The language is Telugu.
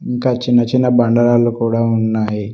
ఇంకా చిన్న చిన్న బండరాళ్లు కూడా ఉన్నాయి.